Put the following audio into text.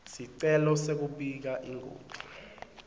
sicelo sekubika ingoti